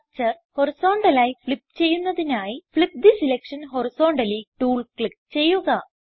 structure horizontal ആയി flip ചെയ്യുന്നതിനായി flip the selection horizontally tool click ചെയ്യുക